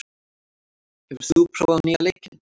, hefur þú prófað nýja leikinn?